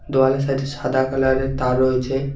দেওয়ালের সাইড -এ সাদা কালারের তার রয়েছে।